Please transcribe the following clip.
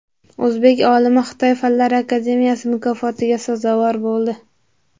O‘zbek olimi Xitoy fanlar akademiyasi mukofotiga sazovor bo‘ldi.